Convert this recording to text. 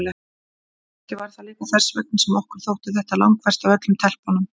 Kannski var það líka þess vegna sem okkur þótti þetta langverst af öllum stelpunum.